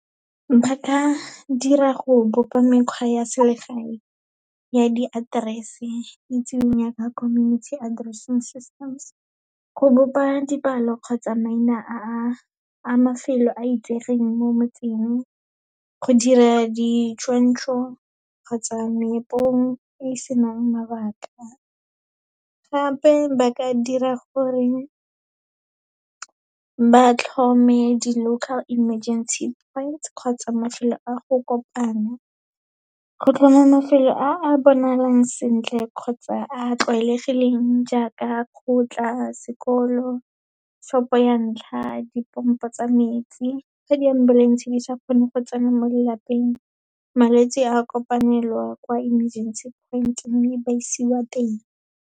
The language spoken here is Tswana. Ba ka dira go bopa mekgwa ya selegae ya di-address-e itsiweng yaaka community addressing systems. Go bopa dipalo kgotsa maina a a mafelo a itsegeng mo motseng, go dira ditshwantsho kgotsa meepong e e senang mabaka, gape ba ka dira gore ba tlhome di local emergency points kgotsa mafelo a go kopana. Go tlhoma mafelo a a bonalang sentle, kgotsa a a tlwaelegileng jaaka kgotla, sekolo, shop-o ya ntlha, dipompo tsa metsi. Fa di-ambulance-e di sa kgone go tsena mo lelapeng, malwetse a kopanelwa kwa emergency point, mme ba isiwa teng.